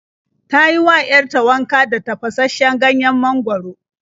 Ta yi wa 'yar ta wanka da tafashasshen ganyen mangwaro.